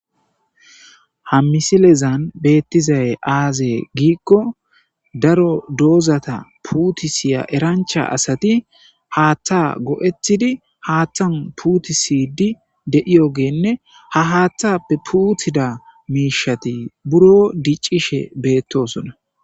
ha misilezan beettizay aazee giikko daro doozata puutisiya erancha asati haaththa go7ethidi haaththan puutisidi de7iyogeenne ha haaththappe puuthida miishati buro diccishe beettosona.